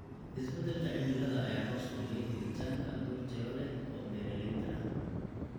Isbeddelka cimilada ayaa hoos u dhigay helitaanka abuur tayo leh oo beeralayda ah.